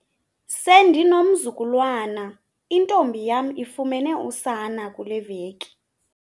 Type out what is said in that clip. Sendinomzukulwana, intombi yam ifumene usana kule veki.